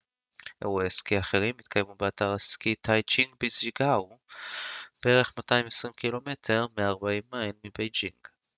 "אירועי סקי אחרים יתקיימו באתר הסקי טאיזיצ'אנג בז'אנגג'יאקו בערך 220 ק""מ 140 מיילים מבייג'ינג.